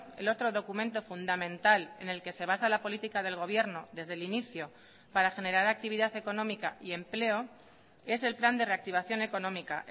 el otro documento fundamental en el que se basa la política del gobierno desde el inicio para generar actividad económica y empleo es el plan de reactivación económica